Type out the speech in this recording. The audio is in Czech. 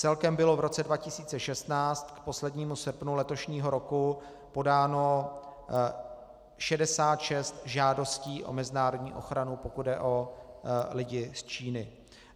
Celkem bylo v roce 2016 k poslednímu srpnu letošního roku podáno 66 žádostí o mezinárodní ochranu, pokud jde o lidi z Číny.